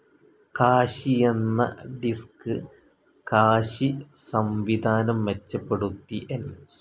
Cache എന്ന disk cache സംവിധാനം മെച്ചപ്പെടുത്തി എൻ.